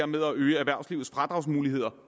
med at øge erhvervslivets fradragsmuligheder